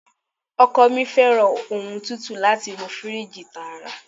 Ọkọ mi fẹ́ràn ohun tútù láti inú firiji tààrà.